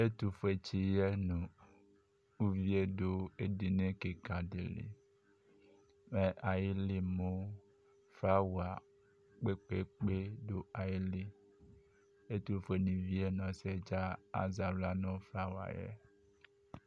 ɛtufue tsɩyɛ nʋ uvi yɛ dʋ edini kɩkadɩlɩ kʋ flawa kpekpekpe dʋ ayɩlɩ ɛtʋfue vɩyɛ nʋ ɔsɩyɛ azɛ aɣla nʋ flawa yɛ